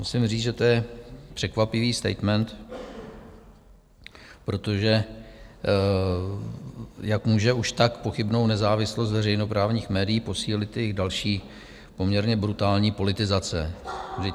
Musím říct, že to je překvapivý statement, protože jak může už tak pochybnou nezávislost veřejnoprávních médií posílit jejich další poměrně brutální politizace?